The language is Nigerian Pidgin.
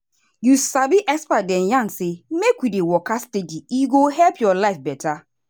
you sabi experts dey yarn say make we dey waka steady e go help your life better.